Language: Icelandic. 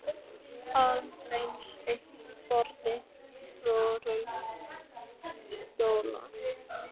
Aðeins eitt borð og fjórir óþægilegir stólar.